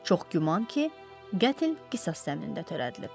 Çox güman ki, qətl qisas zəminində törədilib.